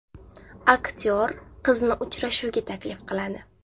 Aktyor qizni uchrashuvga taklif qiladi.